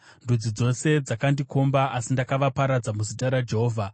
Ndudzi dzose dzakandikomba, asi ndakavaparadza muzita raJehovha.